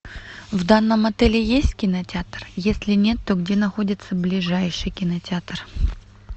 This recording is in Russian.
в данном отеле есть кинотеатр если нет то где находится ближайший кинотеатр